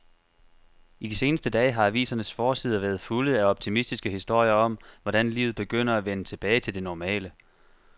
I de seneste dage har avisernes forsider været fulde af optimistiske historier om, hvordan livet begynder at vende tilbage til det normale.